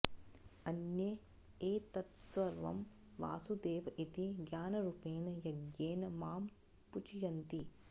अन्ये एतत्सर्वं वासुदेव इति ज्ञानरूपेण यज्ञेन मां पूजयन्ति